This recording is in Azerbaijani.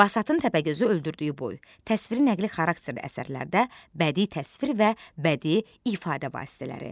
Basatın Təpəgözü öldürdüyü boy, təsviri nəqli xarakterli əsərlərdə bədii təsvir və bədii ifadə vasitələri.